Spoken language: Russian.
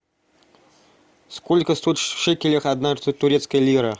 сколько стоит в шекелях одна турецкая лира